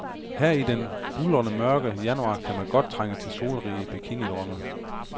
Her i den buldermørke januar kan man godt trænge til solrige bikinidrømme.